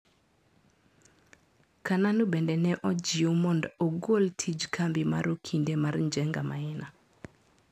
Kananu bende neojiw mondo ogol tij kambi mar okinde mar Njenga Maina.